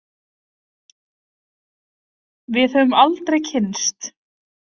Við höfum aldrei kynnst.